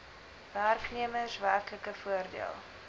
werknemers werklike voordeel